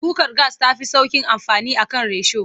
Kukar gas ta fi sauƙin amfani a kan risho.